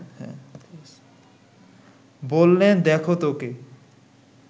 বললেন দেখো তো কে